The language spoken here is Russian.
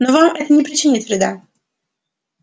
но вам это не причинит вреда